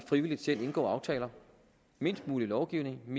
frivilligt indgår aftaler mindst mulig lovgivning